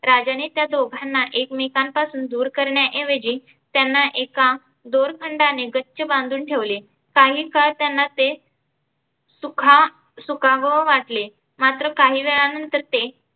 राजाने त्या दोघांना एकमेकां पासून दुर करण्या ऐवजी त्यांना एका दोरखंडाने गच्च बांधून ठेवले. काही काळ त्यांना ते सुखा सुखावं वाटले मात्र काही वेळानंतर ते